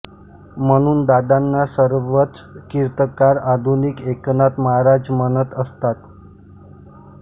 म्हणून दादांना सर्वच कीर्तनकार आधुनिक एकनाथ महाराज म्हणत असत